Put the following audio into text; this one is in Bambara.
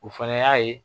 O fɛnɛ y'a ye